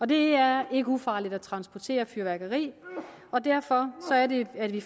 det er ikke ufarligt at transportere fyrværkeri og derfor er det at vi